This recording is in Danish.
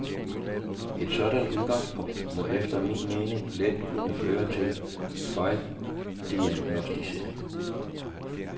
Et sådant udgangspunkt må efter min mening let kunne føre til fejldiagnosticeringer.